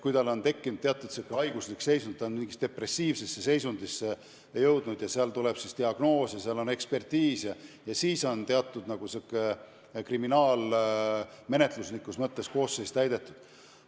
Kui lapsel on tekkinud teatud haiguslik seisund, ta on jõudnud depressiivsesse seisundisse ja pärast ekspertiisi on pandud selline diagnoos, siis on kriminaalmenetluslikus mõttes süüteokoosseis olemas.